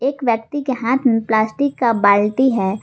एक व्यक्ति के हाथ प्लास्टिक का बाल्टी है।